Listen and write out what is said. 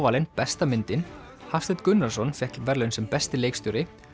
valin besta myndin Hafsteinn Gunnarsson fékk verðlaun sem besti leikstjóri